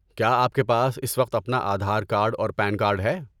کیا آپ کے پاس اس وقت اپنا آدھار کارڈ اور پین کارڈ ہے؟